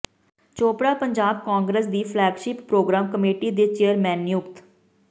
ਚੋਪੜਾ ਪੰਜਾਬ ਕਾਂਗਰਸ ਦੀ flagship programme committee ਦੇ chairman ਨਿਯੁਕਤ